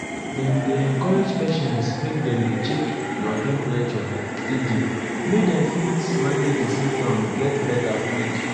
dem dey encourage patients make dem dey check your temperature steady make dem fit manage di symptoms get beta quick.